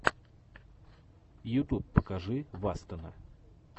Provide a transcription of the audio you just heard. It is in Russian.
ютуб покажи вастена